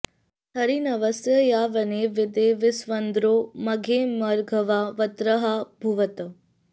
हरी॒ न्व॑स्य॒ या वने॑ वि॒दे वस्विन्द्रो॑ म॒घैर्म॒घवा॑ वृत्र॒हा भु॑वत्